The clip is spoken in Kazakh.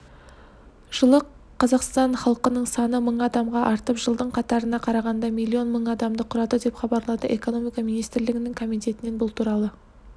жылы қазақстан халқының саны мың адамға артып жылдың қаңтарына қарағанда миллион мың адамды құрады деп хабарлады экономика министрлігінің комитетінен бұл туралы